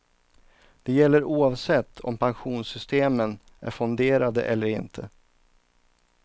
Det gäller oavsett om pensionssystemen är fonderade eller inte.